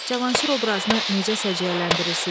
Cavanşir obrazını necə səciyyələndirirsiz?